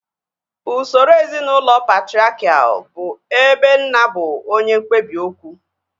Usoro ezinaụlọ patriakial bụ ebe nna bụ onye mkpebi okwu